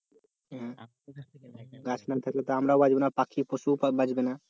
গাছ না থাকলে তো আমরাও বাঁচব না পাখি পশু বাঁচবে না